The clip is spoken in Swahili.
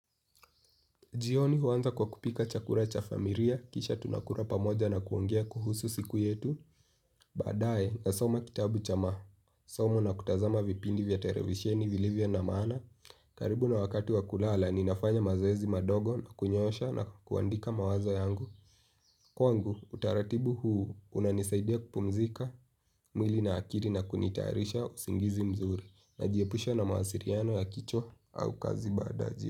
Jioni huanza kwa kupika chakula cha familia, kisha tunakula pamoja na kuongea kuhusu siku yetu, baadaye nasoma kitabu cha masomo na kutazama vipindi vya televisheni vilivyo na maana, karibu na wakati wa kulala ninafanya mazoezi madogo na kunyosha na kuandika mawazo yangu. Kwangu utaratibu huu unanisaidia kupumzika mwili na akili na kunitayarisha usingizi mzuri, najiepusha na mawasiliano ya kichwa au kazi baada ya ji.